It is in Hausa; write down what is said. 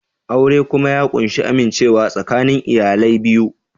Aure kuma ya ƙunshi amincewa tsakanin iyalai biyu